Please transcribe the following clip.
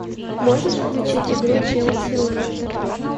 можешь включить игру челси лестер